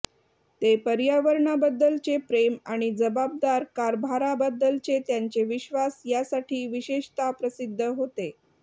ते पर्यावरणाबद्दलचे प्रेम आणि जबाबदार कारभाराबद्दलचे त्यांचे विश्वास यासाठी विशेषतः प्रसिद्ध होते